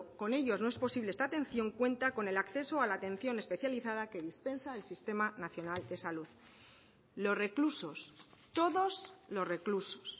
con ellos no es posible esta atención cuenta con el acceso a la atención especializada que dispensa el sistema nacional de salud los reclusos todos los reclusos